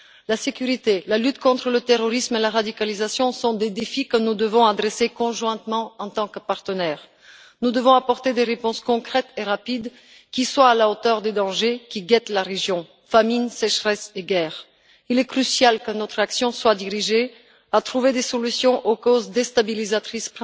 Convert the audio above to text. La sécurité, la lutte contre le terrorisme et la radicalisation sont des défis que nous devons relever conjointement, en tant que partenaires. Nous devons apporter des réponses concrètes et rapides qui soient à la hauteur des dangers qui guettent la région famine, sécheresse et guerre. Il est crucial que notre action vise à trouver des solutions aux principales causes déstabilisatrices